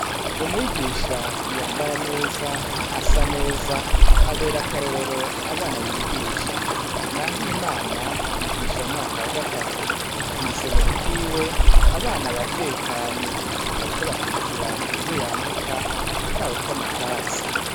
Umwigisha yambara nez' asa nez' aber' akarorer' abana yigisha. Nahimana yigish' umwaka wa gatatu mw' isomero ryiwe, abana baratekanye bariko bakurikir' ivyo yandika' atawukom' akatsi.